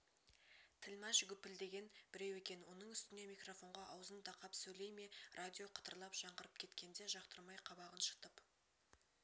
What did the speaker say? тілмаш гүпілдеген біреу екен оның үстіне микрофонға аузын тақап сөйлей ме радио қытырлап жаңғырып кеткенде жақтырмай қабағын шытып